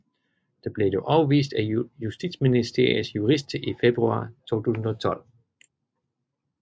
Det blev dog afvist af Justitsministeriets jurister i februar 2012